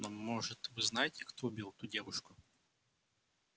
но может вы знаете кто убил ту девушку